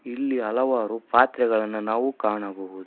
ಇಲ್ಲಿ ಹಲವಾರು ಪಾತ್ರೆಗಳನ್ನ ನಾವು ಕಾಣಬಹುದು.